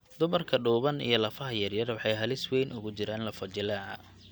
Dumarka dhuuban iyo lafaha yaryar waxay halis weyn ugu jiraan lafo-jileeca.